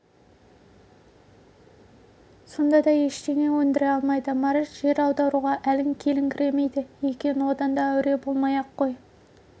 сонда да ештеңе өндіре алмайды марат жер аударуға әлің келіңкіремейді екен одан да әуре болмай-ақ қой